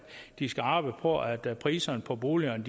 de skal arbejde på at priserne på boligerne